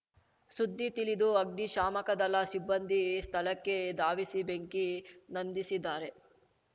ಸುದ್ದಿ ತಿಳಿದು ಅಗ್ನಿ ಶಾಮಕದಳ ಸಿಬ್ಬಂದಿ ಸ್ಥಳಕ್ಕೆ ಧಾವಿಸಿ ಬೆಂಕಿ ನಂದಿಸಿದ್ದಾರೆ